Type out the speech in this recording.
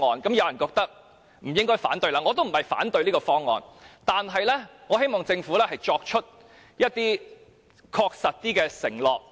有人認為不應該反對，而我也不是要反對，只是希望政府可以作出更確實的承諾。